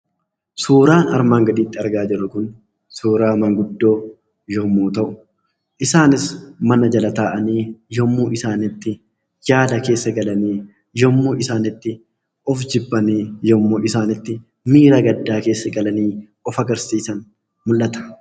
Suuraan armaan gaditti argaa jirru kun suuraa maanguddoo yommuu ta'u, isaanis mana jala taa'anii yommuu isaan itti yaada keessa galanii, yommuu isaan itti of jibbanii, yommuu isaan itti miira gaddaa galanii of agarsiisan mul'ata.